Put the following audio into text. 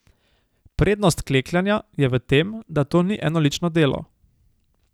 Prednost klekljanja je v tem, da to ni enolično delo.